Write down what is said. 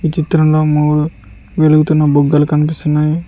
ఈ చిత్రంలో మూడు వెలుగుతున్న బుగ్గలు కనిపిస్తున్నాయి